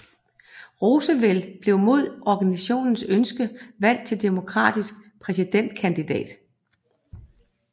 Roosevelt blev mod organisationens ønske valgt til demokratisk præsidentkandidat